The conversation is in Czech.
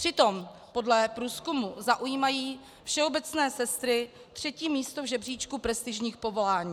Přitom podle průzkumu zaujímají všeobecné sestry třetí místo v žebříčku prestižních povolání.